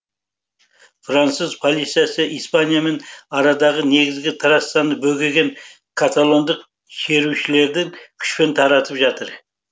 француз полициясы испаниямен арадағы негізгі трассаны бөгеген каталондық шерушілерді күшпен таратып жатыр